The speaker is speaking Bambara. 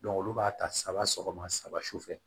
olu b'a ta saba sɔgɔma saba su fɛ